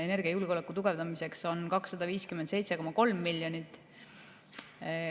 Energiajulgeoleku tugevdamiseks on 257,3 miljonit.